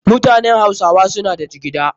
Mutanen hausawa suna da jigida.